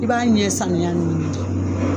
I b'a ɲɛ samiya ɲini di.